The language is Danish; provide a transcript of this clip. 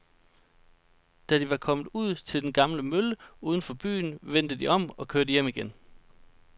Da de var kommet ud til den gamle mølle uden for byen, vendte de om og kørte hjem igen.